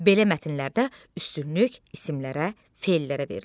Belə mətnlərdə üstünlük isimlərə, fellərə verilir.